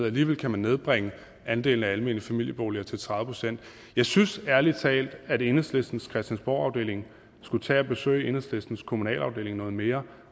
alligevel kan man nedbringe andelen af almene familieboliger til tredive procent jeg synes ærlig talt at enhedslistens christiansborgafdeling skulle tage at besøge enhedslistens kommunalafdeling noget mere